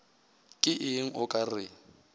ke eng o ka re